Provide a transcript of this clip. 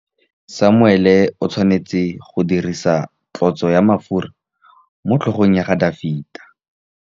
Samuele o tshwanetse go dirisa tlotsô ya mafura motlhôgong ya Dafita.